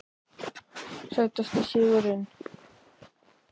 Sætasti sigurinn?